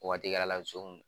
Waati kɛr'a la nsonw